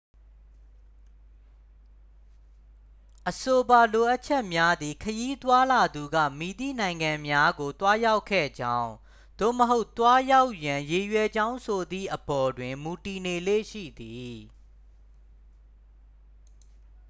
အဆိုပါလိုအပ်ချက်များသည် ခရီးသွားလာသူက မည်သည့်နိုင်ငံများကို သွားရောက်ခဲ့ကြောင်း သို့မဟုတ် သွားရောက်ရန် ရည်ရွယ်ကြောင်းဆိုသည့်အပေါ် တွင် မူတည်နေလေ့ရှိသည်